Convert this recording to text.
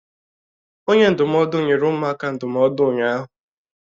Onye ndụmọdụ nyere ụmụaka ndụmọdụ ụnyahụ.